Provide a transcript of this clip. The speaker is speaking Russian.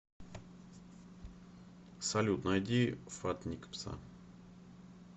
салют найди фат ник пса